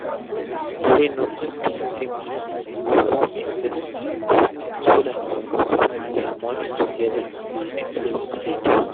pipu wey no get plenti moni go form investment group so dat dem go put dia moni togeda make risk reduce